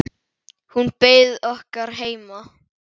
Hún beið okkar heima.